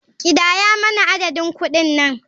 Kidaya mana adadin kuɗin nan.